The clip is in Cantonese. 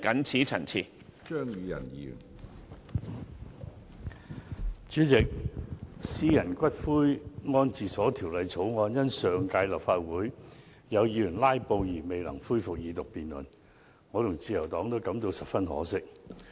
主席，《私營骨灰安置所條例草案》因上屆立法會有議員"拉布"而未能恢復二讀辯論，我和自由黨都感到十分可惜。